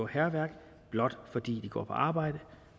hærværk blot fordi de går på arbejde